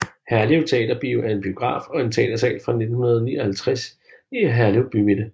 Herlev Teaterbio er en biograf og teatersal fra 1959 i Herlev Bymidte